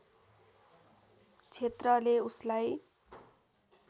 क्षेत्रले उसलाई